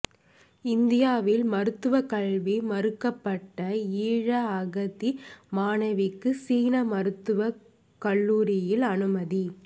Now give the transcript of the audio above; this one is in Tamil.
இந்தியாவில் மருத்துவ கல்வி மறுக்கப்பட்ட ஈழ அகதி மாணவிக்கு சீன மருத்துவக் கல்லூரியில் அனுமதி